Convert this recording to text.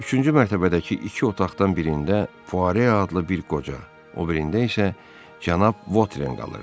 Üçüncü mərtəbədəki iki otaqdan birində Fuare adlı bir qoca, o birində isə Cənab Votren qalırdı.